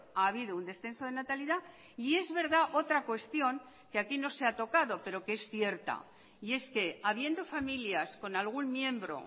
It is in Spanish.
ha habido un descenso de natalidad y es verdad otra cuestión que aquí no se ha tocado pero que es cierta y es que habiendo familias con algún miembro